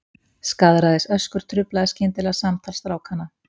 Skaðræðisöskur truflaði skyndilega samtal strákanna.